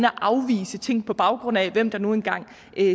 afvise ting på baggrund af hvem der nu engang